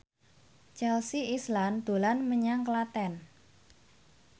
Chelsea Islan dolan menyang Klaten